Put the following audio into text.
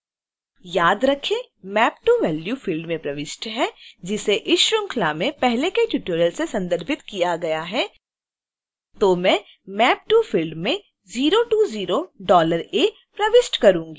याद रखें map to: value field में प्रविष्ट है जिसे इस श्रृंखला में पहले के ट्यूटोरियल से संदर्भित किया गया है